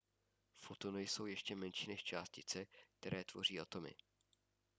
fotony jsou ještě menší než částice které tvoří atomy